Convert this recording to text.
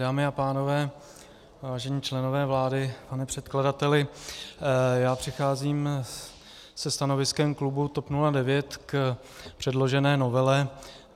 Dámy a pánové, vážení členové vlády, pane předkladateli, já přicházím se stanoviskem klubu TOP 09 k předložené novele.